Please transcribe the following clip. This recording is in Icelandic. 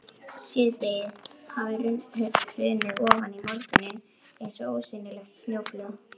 Síðdegið hafði hrunið ofan í morguninn eins og ósýnilegt snjóflóð.